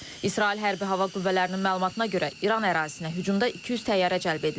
İsrail hərbi hava qüvvələrinin məlumatına görə İran ərazisinə hücumda 200 təyyarə cəlb edilib.